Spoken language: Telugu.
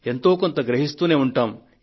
ఎంతో కొంత గ్రహిస్తూనే ఉంటాము